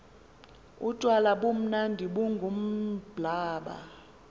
utywala bumnandi bungumblaba